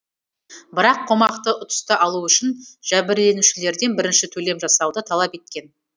бірақ қомақты ұтысты алу үшін жәбірленушілерден бірінші төлем жасауды талап еткен